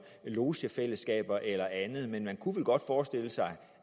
logefælleskaber eller andet men man kunne vel godt forestille sig